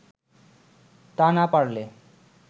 তা না পারলে